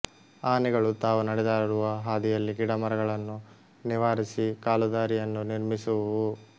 ಆನೆಗಳು ತಾವು ನಡೆದಾಡುವ ಹಾದಿಯಲ್ಲಿ ಗಿಡಮರಗಳನ್ನು ನಿವಾರಿಸಿ ಕಾಲುದಾರಿಯನ್ನು ನಿರ್ಮಿಸುವುವು